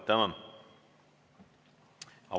Tänan!